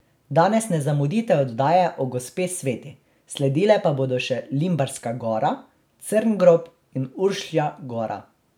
Danes ne zamudite oddaje o Gospe Sveti, sledile pa bodo še Limbarska gora, Crngrob in Uršlja gora.